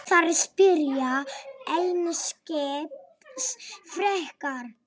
Þær spyrja einskis frekar.